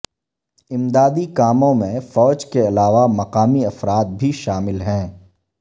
امدادی کاموں میں فوج کے علاوہ مقامی افراد بھی شامل ہیں